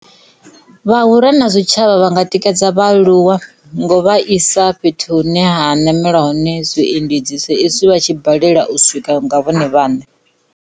Vhahura na zwitshavha vhanga tikedza vhaaluwa ngo vha isa fhethu hune ha nameliwa hone zwiendedzi sa izwi vha tshi balela u swika nga vhone vhaṋe.